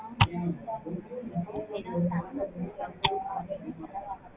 efficient ஆவும் தான் இருக்கு. time வந்து நம்மளுக்கு அதிகமா ஆகாது.